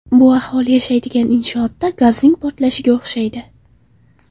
Bu aholi yashaydigan inshootda gazning portlashiga o‘xshaydi.